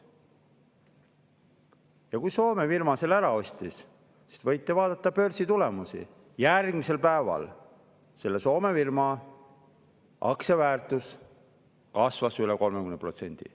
Ja kui üks Soome firma need ära ostis, siis järgmisel päeval – võite vaadata börsitulemusi – selle Soome firma aktsia väärtus kasvas üle 30%.